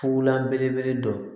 Fula belebele dɔ